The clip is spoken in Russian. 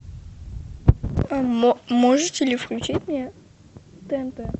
можете ли включить мне тнт